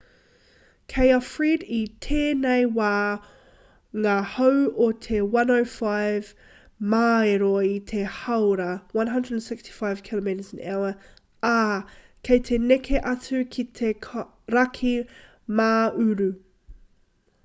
kei a fred i tēnei wā ngā hau o te 105 māero i te hāora 165 km/h ā kei te neke atu ki te raki mā-uru